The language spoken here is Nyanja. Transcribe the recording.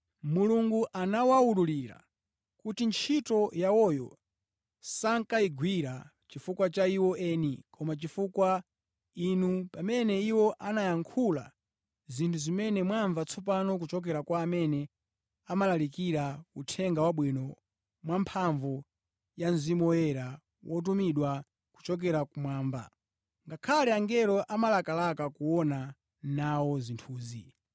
Mulungu anawawululira kuti ntchito yawoyo sankayigwira chifukwa cha iwo eni, koma chifukwa inu, pamene iwo ankayankhula zinthu zimene mwamva tsopano kuchokera kwa amene amalalikira Uthenga Wabwino mwamphamvu ya Mzimu Woyera wotumidwa kuchokera kumwamba. Ngakhale angelo amalakalaka kuona nawo zinthuzi.